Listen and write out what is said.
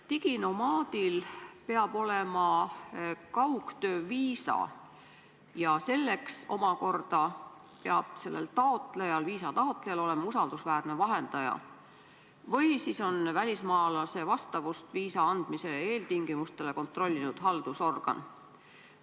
Diginomaadil peab olema kaugtöö viisa ja selleks omakorda peab selle taotlejal, viisa taotlejal olema usaldusväärne vahendaja või siis on välismaalase vastavust viisa andmise eeltingimustele kontrollinud haldusorgan.